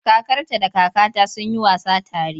Kakarta da kakata sun yi wasa tare.